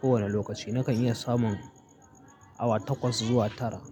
ko wani lokaci nakan iya samun awa takwas zuwa tara.